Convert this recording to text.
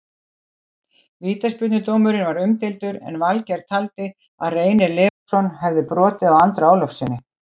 Vítaspyrnudómurinn var umdeildur en Valgeir taldi að Reynir Leósson hefði brotið á Andra Ólafssyni.